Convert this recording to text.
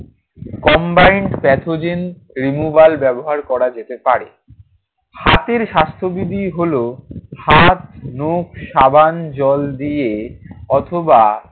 combined pathogen removal ব্যবহার করা যেতে পারে। হাতের স্বাস্থ্যবিধি হলো হাত, নখ সাবান জল দিয়ে অথবা